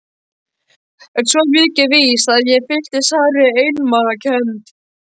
En svo mikið er víst að ég fylltist sárri einmanakennd.